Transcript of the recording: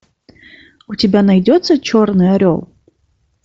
у тебя найдется черный орел